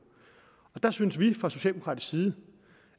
der synes vi fra socialdemokratisk side